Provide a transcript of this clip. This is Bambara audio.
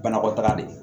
Banakɔtaga de